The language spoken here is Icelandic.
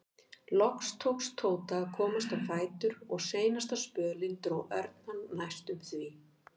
Loks tókst Tóta að komast á fætur og seinasta spölinn dró Örn hann næstum því.